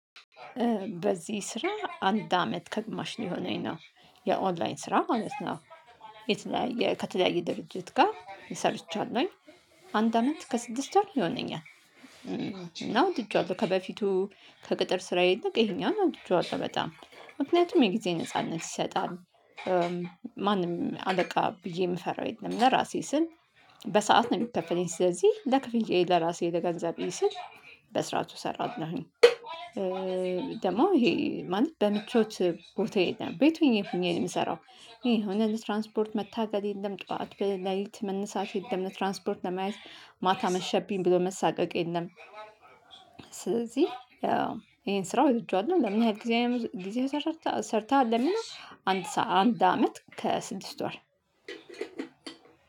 በዚህ ስራ አንድ አመት ከግማሽ ሊሆነኝ ነው የኦንላይን ስራ ማለት ነው። የተለያየ ከተለያየ ድርጅት ጋር ሰርቻለሁኝ። አንድ አመት ከስድስት ወር ይሆነኛል እና ወድጄዋለሁ ከበፊቱ ከቅጥር ስራዬ ይልቅ ይሄኛውን ወድጄዋለሁ በጣም። ምክንያቱም የጊዜ ነጻነት ይሰጣል። ማንም አለቃ ብዬ የምፈራው የለም። ለራሴ ስል በሰአት ነው የሚከፈለኝ ስለዚህ ለክፍያዬ ለራሴ ለገንዘቤ ስል በስራቱ ሰራዋለሁኝ። ደግሞ ይሄ ማንም በምቾት ቦታ የለም ቤት ሆኜ ሆኜ ነው የምሰራው። ይሄ የሆነ ለትራንስፖርት መታገል የለም ጠዋት በለሊት መነሳት የለም ትራንስፖርት ለመያዝ ማታ መሸብኝ ብሎ መሳቀቅ የለም። ስለዚህ ይሄን ስራ ወድጄዋለሁ። ለምን ያህል ጊዜ ጊዜ ሰርተሃል ለሚለው? አንድ ሰዓት አንድ አመት ከስድስት ወር።